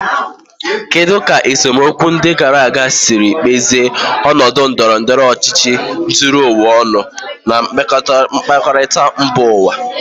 Kedu ka esemokwu ndị gara aga siri kpụzie ọnọdụ ndọrọ ndọrọ ọchịchị zuru ụwa ọnụ na mmekọrịta mba ụwa?